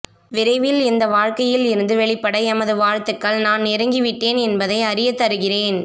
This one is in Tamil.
விரைவில் இந்த வாழ்க்கையில் இருந்து வெளிபட எமது வாழ்த்துகள் நான் நெருங்கி விட்டேன் என்பதை அறியத்தருகிறேன்